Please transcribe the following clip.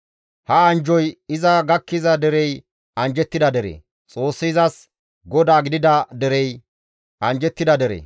Ha anjjoy iza gakkiza derey anjjettida dere; Xoossi izas GODAA gidida derey anjjettida dere.